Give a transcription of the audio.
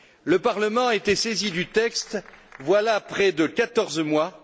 Le Parlement a été saisi du texte, voilà près de 14 mois.